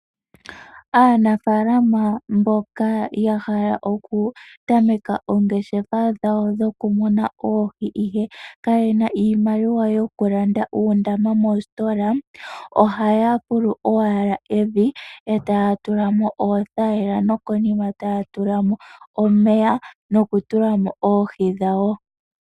Aanafaalama mboka ya hala okutameka oongeshefa dhawo dhokumuna oohi ihe kayena iimaliwa yokulanda uundama mositola, ohaya fulu owala evi e taya tulamo oothayila nokonima taya tulamo omeya nokutulamo oohi dhawo.